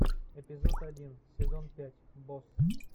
эпизод один сезон пять босс